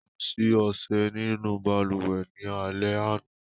Ko si ọṣẹ ninu baluwe ni alẹ ana